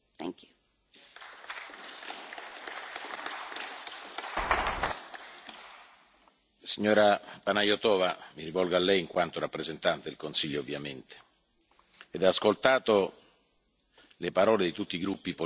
Signora Panayotova mi rivolgo a Lei in quanto rappresentante del Consiglio ovviamente dopo aver ascoltato le parole di tutti i gruppi politici, visto anche quello accade con la vicenda della nave Aquarius, con i contrasti tra Italia e Malta,